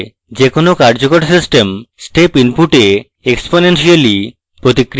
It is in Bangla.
যে কোনো কার্যকর system step input a exponentially প্রতিক্রিয়া দেবে